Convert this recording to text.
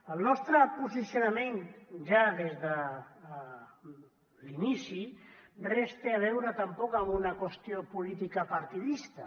el nostre posicionament ja des de l’inici res té a veure tampoc amb una qüestió política partidista